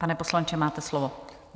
Pane poslanče, máte slovo.